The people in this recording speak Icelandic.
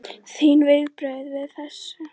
Þín viðbrögð við þessu?